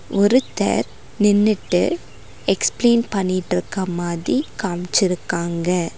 ஒருத்தர் நின்னுட்டு எக்ஸ்ப்ளைன் பண்ணிட்டுக்க மாதி காம்ச்சிருக்காங்க.